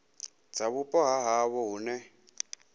dza vhupo ha havho hune